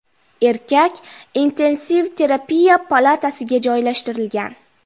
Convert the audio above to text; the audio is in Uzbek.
Erkak intensiv terapiya palatasiga joylashtirilgan.